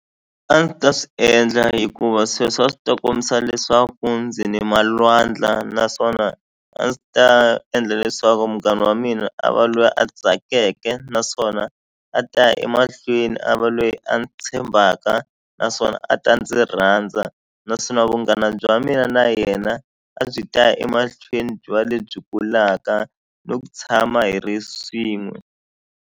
A ndzi ta swi endla hikuva sweswo a swi ta kombisa leswaku ndzi ni malwandla naswona a ndzi ta endla leswaku munghana wa mina a va loyi a tsakeke naswona a ta ya emahlweni a va lweyi a ni tshembaka naswona a ta ndzi rhandza naswona vunghana bya mina na yena a byi ta ya emahlweni byi va lebyi kulaka no ku tshama hi ri swin'we.